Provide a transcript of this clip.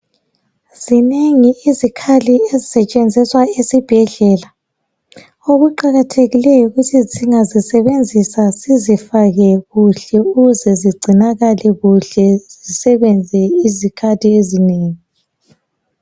Zinengi izikhali esisetshenziswa esibhedlela okuqakathekileyo yikuthi singazisebenzisa sizifake kuhle ukuze zigcinakale kuhlezisebenze izikhathi ezinengi